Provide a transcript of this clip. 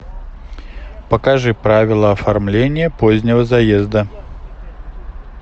покажи правила оформления позднего заезда